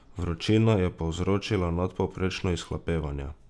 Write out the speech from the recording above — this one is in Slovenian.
Vročina je povzročila nadpovprečno izhlapevanje.